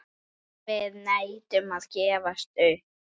Við neitum að gefast upp.